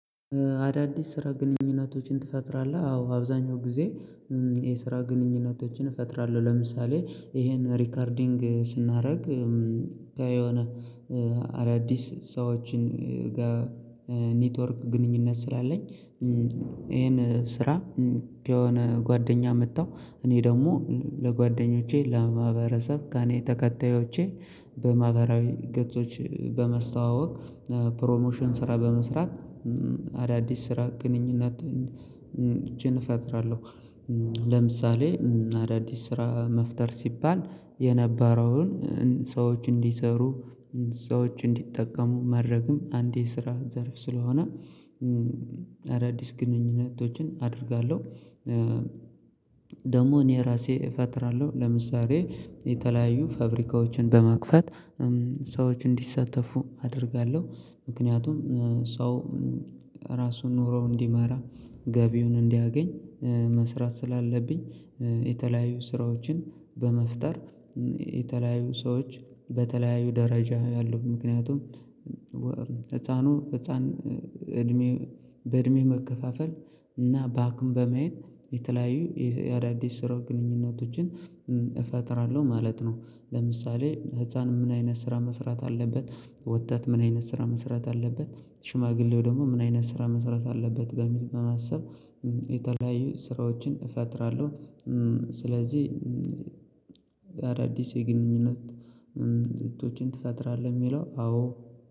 አዳዲስ ስራ ግንኙነቶችን ትፈጥራለህ? አዎ አብዛኛው ጊዜ። የስራ ግንኙነቶችን እፈጥራለሁ ለምሳሌ ይሄን ሪከርዲንግ ስናረግ የሆነ አዳዲስ ሰዎችን ጋ ኔትወርክ ግንኙነት ስላለኝ። ይሄን ስራ የሆነ ጓደኛ መጣሁ። እኔ ደግሞ ለጓደኞቼ ለማህበረሰብ ከኔ ተከታዮቼ በማህበራዊ ገጾች በመስተዋወቅ ፕሮሞሽን ስራ በመስራት አዳዲስ ስራ ግንኙነት ችን እፈጥራለሁ። ለምሳሌ አዳዲስ ስራ መፍጠር ሲባል የነበረውን ሰዎች እንዲሰሩ ሰዎች እንዲጠቀሙ ማድረግም አንዴ የስራ ዘርፍ ስለሆነ አዳዲስ ግንኙነቶችን አደርጋለሁ። ደግሞ እኔ ራሴ እፈጥራለሁ ለምሳሌ የተለያዩ ፋብሪካዎችን በመክፈት ሰዎች እንዲሰተፉ አደርጋለሁ። ምክንያቱም ሰው ራሱን ኑሮው እንዲመራ ገቢውን እንዲያገኝ መስራት ስላለብኝ። የተለያዩ ስራዎችን በመፍጠር የተለያዩ ሰዎች በተለያዩ ደረጃ ያሉ ምክንያቱም ህፃኑ ህፃን እድሜ በእድሜ መከፋፈል እና ባክም በማየት የተለያዩ የአዳዲስ ስራ ግንኙነቶችን እፈጥራለሁ ማለት ነው። ለምሳሌ ህፃን ምን አይነት ስራ መስራት አለበት? ወጣት ምን አይነት ስራ መስራት አለበት? ሽማግሌው ደግሞ ምን አይነት ስራ መስራት አለበት? በሚል በማሰብ የተለያዩ ስራዎችን እፈጥራለሁ። ስለዚህ አዳዲስ የግንኙነት እህቶቼን ትፈጥራለህ የሚለው አዎ።